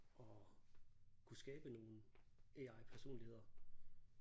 At kunne skabe nogle AI personligheder